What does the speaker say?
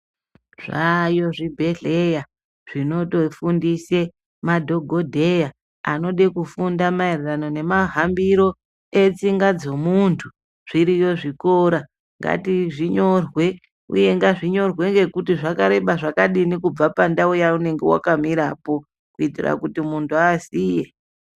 Zvayo zvibhedhlera zvinotofundisa madhokodheya anoda kufunda maererano nemahambiro eidzinga zvemuntu zviriyo zvikora ngazvinyorwe uye ngazvinyorwe kubva kuti zvakareba zvakadini nekubva pandau yaunenge wakamirapo kuitira kuti muntu aziye.